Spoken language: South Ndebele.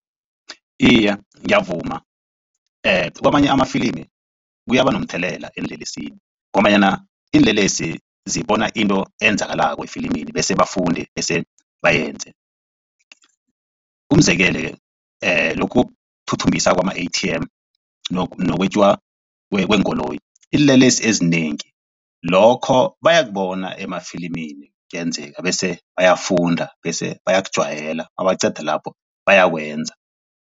Iye, ngiyavuma kwamanye amafilimi kuyaba nomthelela eenlelesini ngombanyana iinlelesi zibona into eyenzakalako efilimini bese bafunde bese bayenze. Umzekele lokhu ukuthuthumbisa kwama-A_T_M nokwetjiwa kweenkoloyi iinlelesi ezinengi lokho bayokubona emafilimini kuyenzeka bese bayafunda bese bayakujwayela nabaqeda lapho bayakwenza.